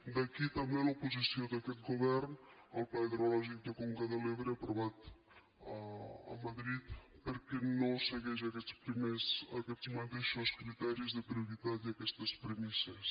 d’aquí també l’oposició d’aquest govern al pla hidrològic de la conca de l’ebre aprovat a madrid perquè no segueix aquests mateixos criteris de prioritat i aquestes premisses